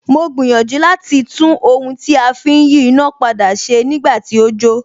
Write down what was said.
Mo gbìyànjú láti tún ohun tí a fi ń yí iná padà ṣe nígbà tí ó jó